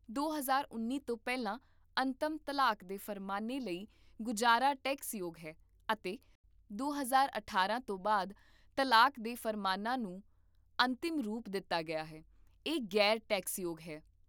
ਦੌ ਹਜ਼ਾਰ ਉੱਨੀ ਤੋਂ ਪਹਿਲਾਂ ਅੰਤਮ ਤਲਾਕ ਦੇ ਫਰਮਾਨਾਂ ਲਈ ਗੁਜਾਰਾ ਟੈਕਸਯੋਗ ਹੈ ਅਤੇ ਦੋ ਹਜ਼ਾਰ ਅਠਾਰਾਂ ਤੋਂ ਬਾਅਦ ਤਲਾਕ ਦੇ ਫ਼ਰਮਾਨਾਂ ਨੂੰ ਅੰਤਿਮ ਰੂਪ ਦਿੱਤਾ ਗਿਆ ਹੈ, ਇਹ ਗ਼ੈਰ ਟੈਕਸਯੋਗ ਹੈ